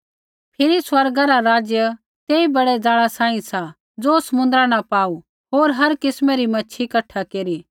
फिरी स्वर्गा रा राज्य तेई बड़ै ज़ाला सांही सा ज़ो समुन्द्रा न पाऊ होर हर किस्मै री मैच्छ़ी कठा केरी